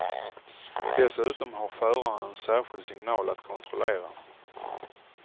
Dessutom har föraren en särskild signal att kontrollera.